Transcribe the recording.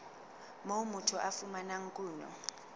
moo motho a fumanang kuno